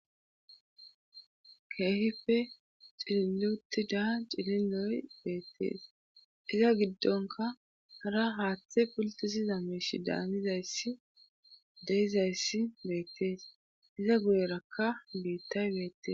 keehife xililutida cililoy beettees iza giddonka hara haaththe pultisiza meeshi daanizayssi deizayssi beettees iza guyerakka biittay beettes